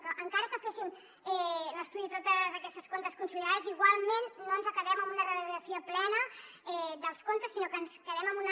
però encara que féssim l’estudi de tots aquests comptes consolidats igualment no ens quedem amb una radiografia plena dels comptes sinó que ens quedem amb una